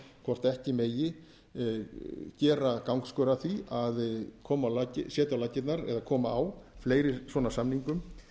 hvort ekki megi gera gangskör að því að setja á laggirnar eða koma á fleiri svona samningum